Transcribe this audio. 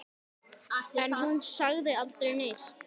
En hún sagði aldrei neitt.